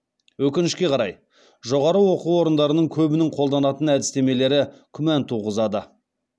өкінішке қарай жоғары оқу орындарының көбінің қолданатын әдістемелері күмән туғызады